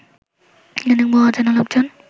ইদানিং বহু অচেনা লোকজন